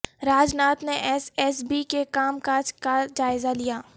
راج ناتھ نے S S B کے کام کاج کا جائزہ لیا